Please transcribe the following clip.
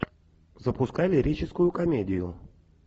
запускай лирическую комедию